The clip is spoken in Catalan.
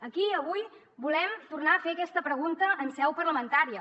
aquí avui volem tornar a fer aquesta pregunta en seu parlamentària